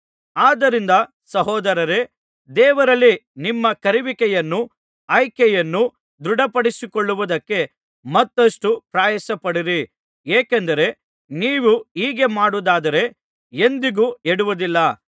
ಆದ್ದರಿಂದ ಸಹೋದರರೇ ದೇವರಲ್ಲಿ ನಿಮ್ಮ ಕರೆಯುವಿಕೆಯನ್ನೂ ಆಯ್ಕೆಯನ್ನೂ ದೃಢಪಡಿಸಿಕೊಳ್ಳುವುದಕ್ಕೆ ಮತ್ತಷ್ಟು ಪ್ರಯಾಸಪಡಿರಿ ಏಕೆಂದರೆ ನೀವು ಹೀಗೆ ಮಾಡುವುದಾದರೆ ಎಂದಿಗೂ ಎಡುವುದಿಲ್ಲ